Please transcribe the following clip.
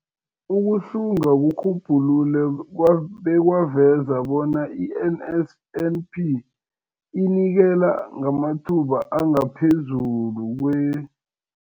Ukuhlunga kurhubhulule bekwaveza bona i-NSNP inikela ngamathuba angaphezulu kwe-